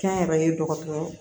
Kɛnyɛrɛye dɔgɔtɔrɔw